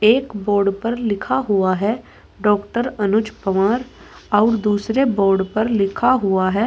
एक बोर्ड पर लिखा हुआ है डॉक्टर अनुज पवार और दूसरे बोर्ड पर लिखा हुआ है--